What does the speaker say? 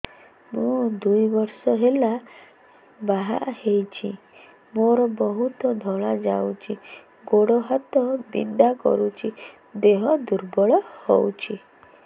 ମୁ ଦୁଇ ବର୍ଷ ହେଲା ବାହା ହେଇଛି ମୋର ବହୁତ ଧଳା ଯାଉଛି ଗୋଡ଼ ହାତ ବିନ୍ଧା କରୁଛି ଦେହ ଦୁର୍ବଳ ହଉଛି